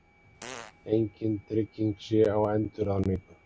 Engin trygging sé á endurráðningu